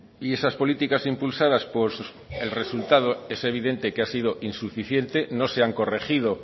y esas políticas impulsadas por el resultado es evidente que ha sido insuficiente no se han corregido